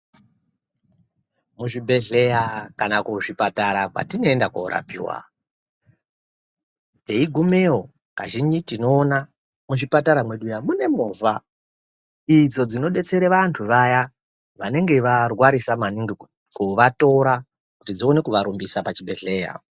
Muzvibhedhleya kana kuzvipatara kwatinoende korapiwa teigumeyo kazhinji tinoona muchipatara mwedu muyana mune movha idzo dzinodetsera vanthu vaya vanenge varwarisa maningi kuvatora kuti dzione kuvarumbisa pachibhedhleya.